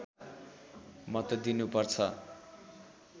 मत दिनु पर्छ